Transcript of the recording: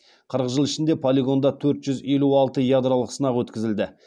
қырық жыл ішінде полигонда төрт жүз елу алты ядролық сынақ өткізілді